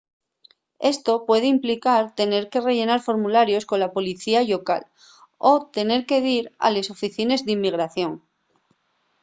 esto puede implicar tener que rellenar formularios cola policía llocal o tener que dir a les oficines d'inmigración